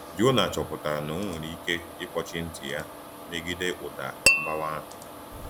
Jona chọpụtara na o nwere ike ịkpọchie ntị ya megide ụda mgbawa ahụ.